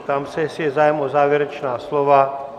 Ptám se, jestli je zájem o závěrečná slova?